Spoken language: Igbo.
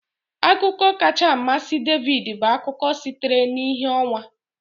Akụkọ kacha amasị David bụ akụkọ sitere na ìhè ọnwa